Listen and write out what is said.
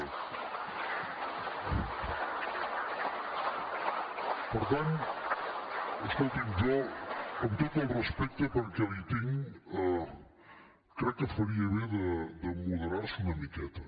per tant escolti’m jo amb tot el respecte perquè li’n tinc crec que faria bé de moderar se una miqueta